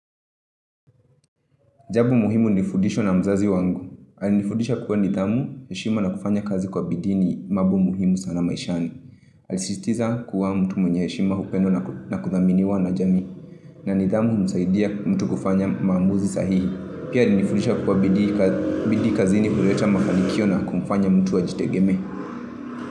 Jambo muhimu nilifudishwa na mzazi wangu. Alinifundisha kuwa nidhamu, heshima na kufanya kazi kwa bidii ni mambo muhimu sana maishani. Alisisitiza kwa mtu mwenye heshima hupendwa na kudhaminiwa na jamii. Na nidhamu humsaidia mtu kufanya maamuzi sahihi. Pia alinifundisha kuwa bidii kazini huleta mafanikio na kumfanya mtu a jitegemee.